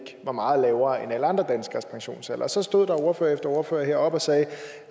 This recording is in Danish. var meget lavere end alle andre danskeres pensionsalder og så stod der ordfører efter ordfører heroppe og sagde